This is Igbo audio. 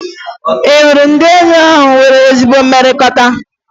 Ị hụrụ ndị enyi ahụ nwere ezi mmekọrịta?